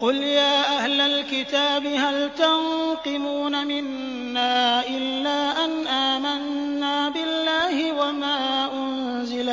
قُلْ يَا أَهْلَ الْكِتَابِ هَلْ تَنقِمُونَ مِنَّا إِلَّا أَنْ آمَنَّا بِاللَّهِ وَمَا أُنزِلَ